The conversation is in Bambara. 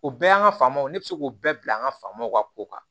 O bɛɛ y'an ka faamaw ye ne bɛ se k'o bɛɛ bila an ka faamaw ka kow kan